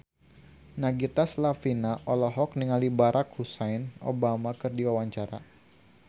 Nagita Slavina olohok ningali Barack Hussein Obama keur diwawancara